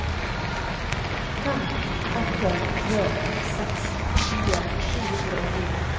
fem åtte tre seks tjue sju hundre og ni